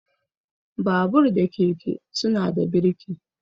Babur da keke suna da burki.